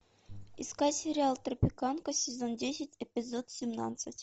искать сериал тропиканка сезон десять эпизод семнадцать